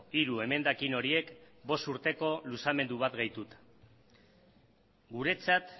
hiru emendakin horiek bost urteko luzamendu bat gehituta guretzat